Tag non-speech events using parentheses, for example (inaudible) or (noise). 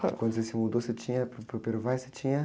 Quando você se mudou, você tinha, para o, (unintelligible) você tinha?